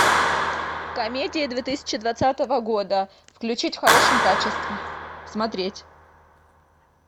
комедия две тысячи двадцатого года включить в хорошем качестве смотреть